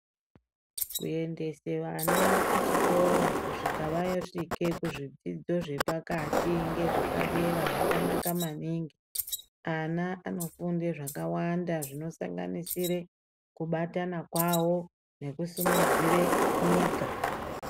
Kuendese vana kuchikora kusvika vasvike kuzvidzidzo zvepakati ngezvepadera zvakanaka maningi. Ana vanofunde zvakawanda zvinosanganisire kubatana kwavo nekusimudzire nyika.